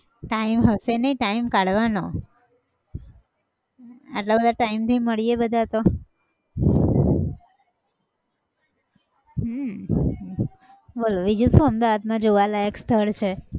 time હશે નહિ time કાઢવાનો આટલા બધા time પછી મળીએ બધા તો. હમ બોલો બીજું શું અમદાવાદમાં જોવાલાયક સ્થળ છે?